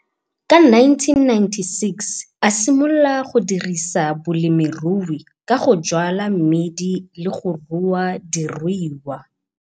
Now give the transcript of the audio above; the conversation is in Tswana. Ka 1996 a simolola go dirisa bolemirui ka go jwala mmidi le go rua diruiwa.